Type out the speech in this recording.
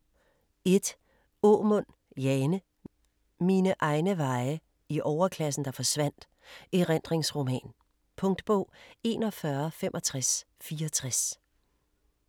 1. Aamund, Jane: Mine egne veje - i overklassen, der forsvandt: erindringsroman Punktbog 416564